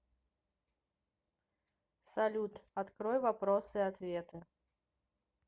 салют открой вопросы и ответы